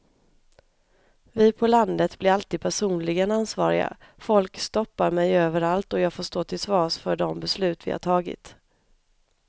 Vi på landet blir alltid personligen ansvariga, folk stoppar mig överallt och jag får stå till svars för de beslut vi har tagit.